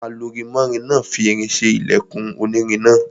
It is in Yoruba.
Alurinmọ́rin náà fi irin ṣe ilẹkùn onírin náà.